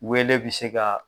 Wele bɛ se ka